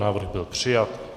Návrh byl přijat.